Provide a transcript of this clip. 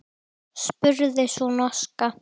spurði sú norska.